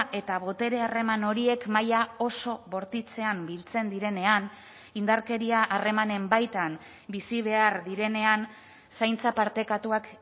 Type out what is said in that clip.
eta botere harreman horiek maila oso bortitzean biltzen direnean indarkeria harremanen baitan bizi behar direnean zaintza partekatuak